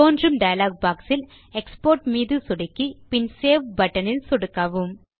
தோன்றும் டயலாக் boxயில் எக்ஸ்போர்ட் மீது சொடுக்கி பின் சேவ் பட்டன் இல் சொடுக்கவும்